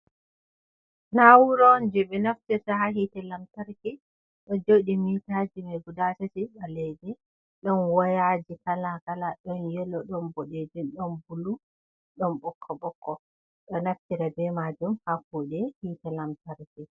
Na'ura on jee ɓe naftirta ha hiite lamtarki, ɗon jooɗi mitaji mai guda tati ɓaleegi. Ɗon wayaaji kala kala, ɗon yelo ɗon boɗejum, ɗon bulu ɗon ɓokko-ɓokko, ɗo naftira be majum haa kuɗe hiite lamtarki.